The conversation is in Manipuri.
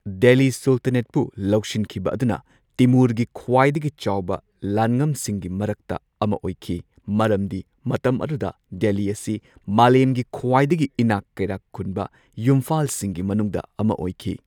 ꯗꯦꯜꯂꯤ ꯁꯨꯜꯇꯥꯅꯦꯠꯄꯨ ꯂꯧꯁꯤꯟꯈꯤꯕ ꯑꯗꯨꯅ ꯇꯤꯃꯨꯔꯒꯤ ꯈ꯭ꯋꯥꯏꯗꯒꯤ ꯆꯥꯎꯕ ꯂꯥꯟꯉꯝꯁꯤꯡꯒꯤ ꯃꯔꯛꯇ ꯑꯃ ꯑꯣꯏꯈꯤ, ꯃꯔꯝꯗꯤ ꯃꯇꯝ ꯑꯗꯨꯗ, ꯗꯦꯜꯂꯤ ꯑꯁꯤ ꯃꯥꯂꯦꯝꯒꯤ ꯈ꯭ꯋꯥꯏꯗꯒꯤ ꯏꯅꯥꯛ ꯀꯩꯔꯥꯛ ꯈꯨꯟ ꯌꯨꯝꯐꯥꯜꯁꯤꯡꯒꯤ ꯃꯅꯨꯡꯗ ꯑꯃ ꯑꯣꯏꯈꯤ꯫